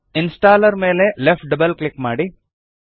installer ಮೇಲೆ left double click ಮಾಡಿ